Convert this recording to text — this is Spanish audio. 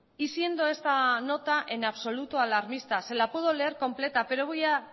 y siendo esta nota en absoluto alarmista se la puedo leer completa pero voy a